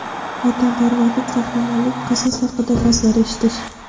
Vatanparvarlik, qahramonlik, qasos haqida va’zlar eshitish.